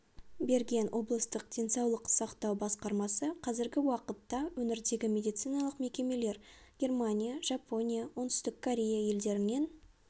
берген облыстық денсаулық сақтау басқармасы қазіргі уақытта өңірдегі медициналық мекемелер германия жапония оңтүстік корея елдерінен